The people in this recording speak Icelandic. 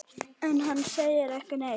En hann segir ekki neitt.